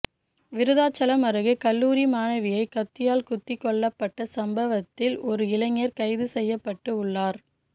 விருதாச்சலம் அருகே கல்லூரி மாணவியை கத்தியால் குத்தி கொல்லப்பட்ட சம்பவத்தில் ஒரு இளைஞர் கைது செய்யப்பட்டு உள்ளார்